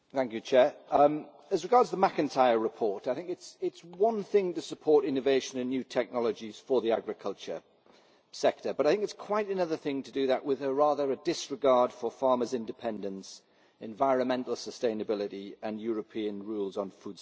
Madam President, as regards the McIntyre report, I think it is one thing to support innovation and new technologies for the agriculture sector, but I think it is quite another thing to do that with rather a disregard for farmers' independence, environmental sustainability, and European rules on food safety.